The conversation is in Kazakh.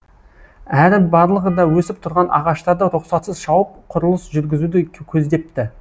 әрі барлығы да өсіп тұрған ағаштарды рұқсатсыз шауып құрылыс жүргізуді көздепті